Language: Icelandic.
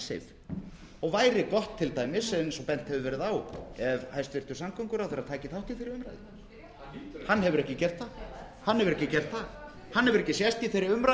um icesave og væri gott til dæmis eins og bent hefur verið á ef hæstvirtur samgönguráðherra tæki þátt í þeirri umræðu hann hefur ekki gert það hann hefur ekki sést í þeirri umræðu